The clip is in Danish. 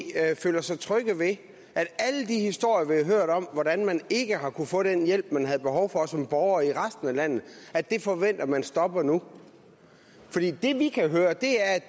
føler sig trygge ved alle de historier vi har hørt om hvordan man ikke har kunnet få den hjælp man havde behov for som borger i resten af landet forventer man stopper nu det vi kan høre